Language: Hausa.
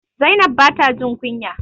Zainab ba ta jin kunya.